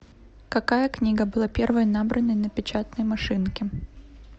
какая книга была первой набранной на печатной машинке